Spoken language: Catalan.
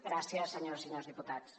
gràcies senyores i senyors diputats